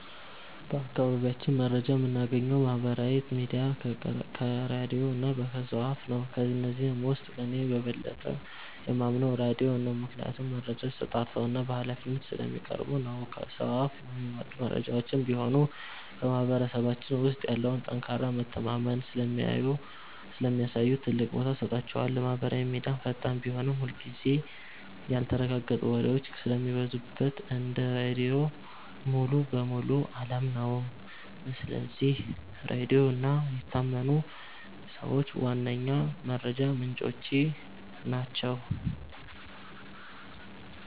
በአካባቢያችን መረጃ የምናገኘው ከማህበራዊ ሚዲያ፣ ከራድዮ እና ከሰው አፍ ነው። ከነዚህም ውስጥ እኔ በበለጠ የማምነው ራድዮን ነው፤ ምክንያቱም መረጃዎች ተጣርተውና በሃላፊነት ስለሚቀርቡ ነው። ከሰው አፍ የሚመጡ መረጃዎችም ቢሆኑ በማህበረሰባችን ውስጥ ያለውን ጠንካራ መተማመን ስለሚያሳዩ ትልቅ ቦታ እሰጣቸዋለሁ። ማህበራዊ ሚዲያ ፈጣን ቢሆንም፣ ብዙ ጊዜ ያልተረጋገጡ ወሬዎች ስለሚበዙበት እንደ ራድዮ ሙሉ በሙሉ አላምነውም። ስለዚህ ራድዮ እና የታመኑ ሰዎች ዋነኛ የመረጃ ምንጮቼ ናቸው።